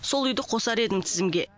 сол үйді қосар едім тізімге